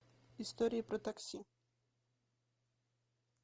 истории про такси